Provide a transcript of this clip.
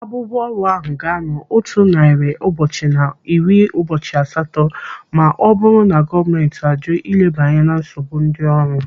Abụbụ ọrụ ahụ ga-anọ otu narị ụbọchị na iri ụbọchị asatọ ma ọ bụrụ na gọọmenti ajụ ileba anya na nsogbu ndị ọrụ.